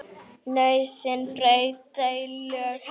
Nauðsyn braut þau lög, herra.